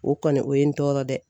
O kɔni o ye n tɔɔrɔ dɛ.